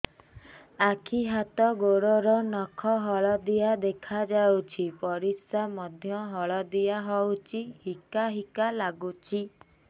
ଆଖି ହାତ ଗୋଡ଼ର ନଖ ହଳଦିଆ ଦେଖା ଯାଉଛି ପରିସ୍ରା ମଧ୍ୟ ହଳଦିଆ ହଉଛି ହିକା ହିକା ଲାଗୁଛି